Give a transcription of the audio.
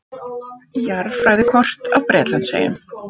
Jarðfræðikort af Bretlandseyjum.